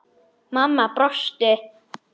Mamma brosti.